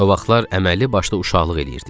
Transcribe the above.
O vaxtlar əməlli başlı uşaqlıq eləyirdik.